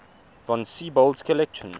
von siebold's collection